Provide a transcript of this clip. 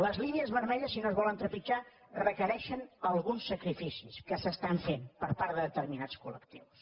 les línies vermelles si no es volen trepitjar requereixen alguns sacrificis que s’estan fent per part de determinats col·lectius